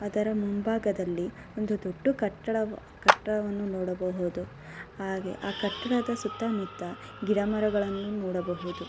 ಅದರ ಮುಂಬಾಗದಲ್ಲಿ ಒಂದು ದೊಡ್ಡ ಕಟ್ಟ ಕಟ್ಟಡವನ್ನು ನೋಡಬಹುದು ಹಾಗೆ ಆ ಕಟ್ಟಡದ ಸುತ್ತ ಮುತ್ತ ಗಿಡ ಮರವನ್ನು ನೋಡಬಹುದು.